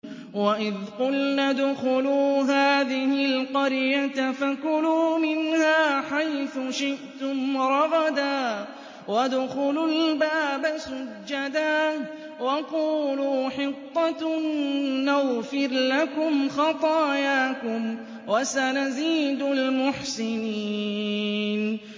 وَإِذْ قُلْنَا ادْخُلُوا هَٰذِهِ الْقَرْيَةَ فَكُلُوا مِنْهَا حَيْثُ شِئْتُمْ رَغَدًا وَادْخُلُوا الْبَابَ سُجَّدًا وَقُولُوا حِطَّةٌ نَّغْفِرْ لَكُمْ خَطَايَاكُمْ ۚ وَسَنَزِيدُ الْمُحْسِنِينَ